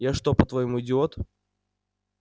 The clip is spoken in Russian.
я что по-твоему идиот